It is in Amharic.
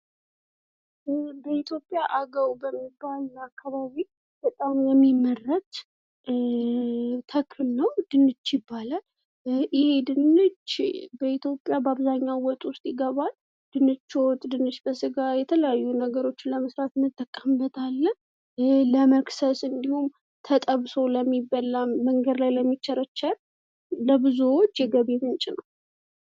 ይህ በኢትዮጵያ አገው በሚባል አካባቢ በጣም የሚመረት ተክል ነው። ድንች ይባላል። ይህ ድንች በኢትዮጵያ በአብዛኛው ቦታዎች ይመገባል። ድንች ወጥ፣ ድንች በስጋ እና የተለያዩ ነገሮችን ለመስራት እንጠቀምበታለን: